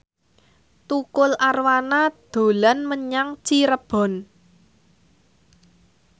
Tukul Arwana dolan menyang Cirebon